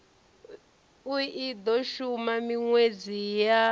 i do shuma minwedzi ya